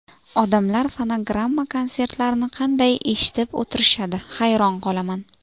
Odamlar fonogramma-konsertlarni qanday eshitib o‘tirishadi, hayron qolaman.